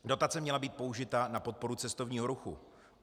Dotace měla být použita na podporu cestovního ruchu.